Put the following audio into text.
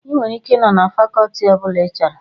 Ị nwere ike ị nọ na fakọtị ọbụla ị chọrọ